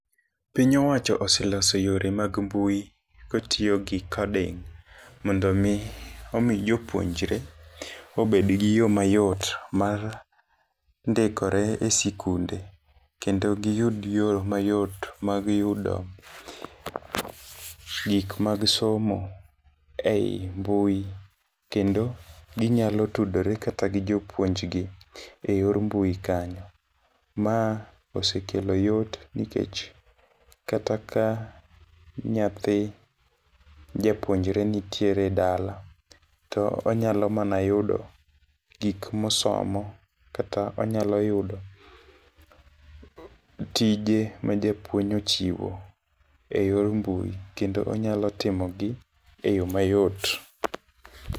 Piny owacho oseloso yore mag mbui kotiyo gi coding mondo mi omi jopuonjre obed gi yoo mayot mar ndikore esikunde kendo giyud yoo mayot mag yudo gik mag somo ei mbui kendo ginyalo tudori kata gi japuonjgi e yor mbui kanyo. Ma osekelo yot nikech kata ka nyathi japuonjre nitiere dala to onyalo mana yudo gik mosomo kata onyalo yudo tije ma japuonj ochiwo e yor mbui kendo onyalo timo gi e yoo mayot.